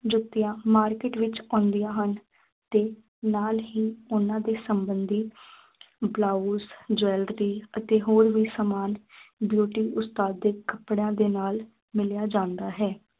ਜੁੱਤੀਆਂ market ਵਿੱਚ ਆਉਂਦੀਆਂ ਹਨ ਅਤੇ ਨਾਲ ਹੀ ਉਨ੍ਹਾਂ ਦੇ ਸੰਬੰਧੀ ਬਲਾਊਸ jewellery ਅਤੇ ਹੋਰ ਵੀ ਸਾਮਾਨ beauty ਉਸਤਾਦਿਕ ਕੱਪੜਿਆਂ ਦੇ ਨਾਲ ਮਿਲਿਆ ਜਾਂਦਾ ਹੈ।